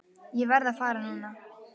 Ég verð að fara núna!